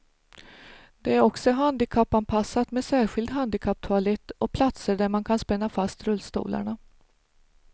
Det är också handikappanpassat med särskild handikapptoalett och platser där man kan spänna fast rullstolarna.